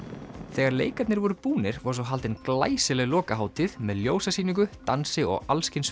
þegar leikarnir voru búnir var svo haldin glæsileg lokahátíð með dansi og